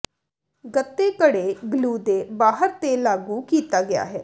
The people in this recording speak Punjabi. ਗੱਤੇ ਘੜੇ ਗਲੂ ਦੇ ਬਾਹਰ ਤੇ ਲਾਗੂ ਕੀਤਾ ਗਿਆ ਹੈ